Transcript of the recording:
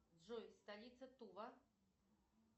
джой столица тува